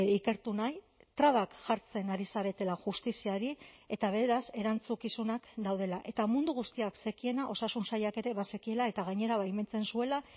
ikertu nahi trabak jartzen ari zaretela justiziari eta beraz erantzukizunak daudela eta mundu guztiak zekiena osasun sailak ere bazekiela eta gainera baimentzen zuela